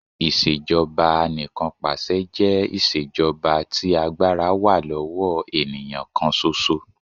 Ìṣèjọba Anìkanpàṣẹ jẹ́ iṣẹ́ jọba tí agbára wá lọ́wọ́ ènìyàn kàn ṣoṣo.